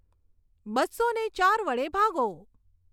બસ્સોને ચાર વડે ભાગો